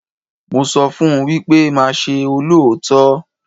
Mo sọ fún wípé máa ṣe olóòótọ́.